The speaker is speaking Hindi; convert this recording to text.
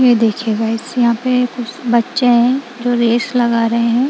ये देखिए गाइस यहां पे कुछ बच्चे है जो रेस लगा रहे हैं।